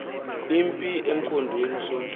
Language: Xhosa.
impi emkhondweni usonti